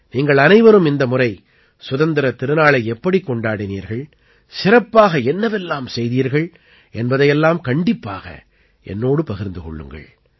நீங்கள் அனைவரும் இந்த முறை சுதந்திரத் திருநாளை எப்படிக் கொண்டாடினீர்கள் சிறப்பாக என்னவெல்லாம் செய்தீர்கள் என்பதை எல்லாம் கண்டிப்பாக என்னோடு பகிர்ந்து கொள்ளுங்கள்